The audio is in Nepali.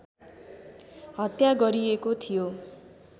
हत्या गरिएको थियो